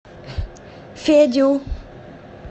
федю